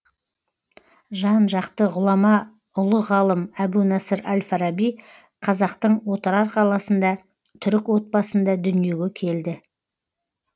жан жакты ғұлама ұлы ғалым әбу насыр әл фараби казақтың отырар қаласында түрік отбасында дүниеге келді